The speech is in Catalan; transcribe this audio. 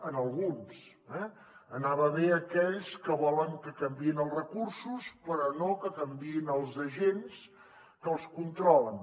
a alguns eh anava bé a aquells que volen que canviïn els recursos però no que canviïn els agents que els controlen